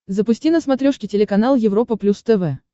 запусти на смотрешке телеканал европа плюс тв